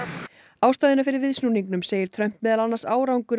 ástæðuna fyrir viðsnúningnum segir Trump meðal annars árangur